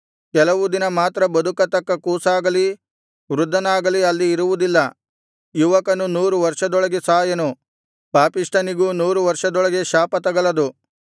ಕೆಲವು ದಿನ ಮಾತ್ರ ಬದುಕತಕ್ಕ ಕೂಸಾಗಲಿ ವೃದ್ಧನಾಗಲಿ ಅಲ್ಲಿ ಇರುವುದಿಲ್ಲ ಯುವಕನು ನೂರು ವರ್ಷದೊಳಗೆ ಸಾಯನು ಪಾಪಿಷ್ಠನಿಗೂ ನೂರು ವರ್ಷದೊಳಗೆ ಶಾಪ ತಗಲದು